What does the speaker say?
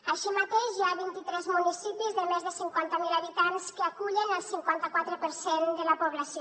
així mateix hi ha vint i tres municipis de més de cinquanta mil habitants que acullen el cinquanta quatre per cent de la població